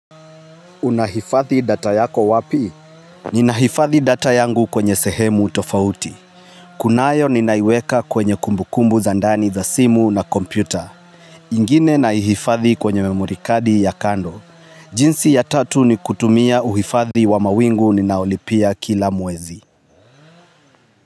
Unahifathi data yako wapi? Nina hifathi data yangu kwenye sehemu tofauti. Kunayo ninaiweka kwenye kumbukumbu za ndani za simu na kompyuta. Ingine na hifathi kwenye memorikadi ya kando. Jinsi ya tatu ni kutumia uhifathi wa mawingu ninaolipia kila mwezi.